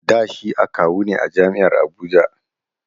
Da shi akawu ne a jam'iar Abuja